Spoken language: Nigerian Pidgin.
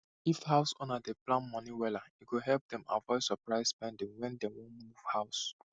if house owner dey plan moni wella e go help dem avoid surprise spending when dem wan move house